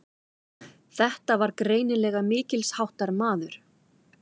Þetta var greinilega mikilsháttar maður.